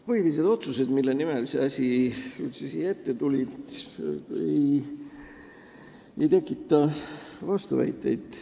Põhilised otsused, mille tegemiseks see eelnõu üldse siia meie ette tuli, ei tekita vastuväiteid.